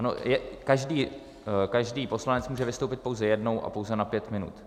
Ano, každý poslanec může vystoupit pouze jednou a pouze na pět minut.